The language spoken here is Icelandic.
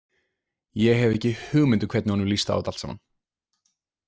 Ég hef ekki hugmynd um hvernig honum líst á þetta allt saman.